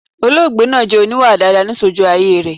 Olóògbé naa jẹ oníwà daadaa ni sojú ayé rẹ̀